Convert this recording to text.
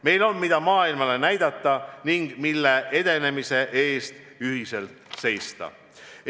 Meil on, mida maailmale näidata ning mille edenemise eest ühiselt seista.